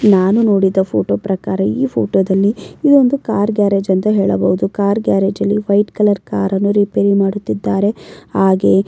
ನಾನು ನೋಡಿದ ಫೋಟೋ ಪ್ರಕಾರ ಈ ಫೋಟೋದಲ್ಲಿ ಇದೊಂದು ಕಾರ್ ಗ್ಯಾರೇಜ್ ಅಂತ ಹೇಳಬಹುದು ಕಾರ್ ಗ್ಯಾರೇಜ್ ಅಲ್ಲಿ ವೈಟ್ ಕಲರ್ ಕಾರ್ ಅನ್ನು ರಿಪೇರಿ ಮಾಡುತ್ತಿದ್ದಾರೆ ಹಾಗೆ--